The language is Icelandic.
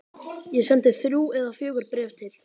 Ég sendi þrjú eða fjögur bréf til